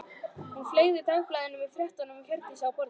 Hún fleygði dagblaðinu með fréttinni um Hjördísi á borðið.